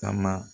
Kama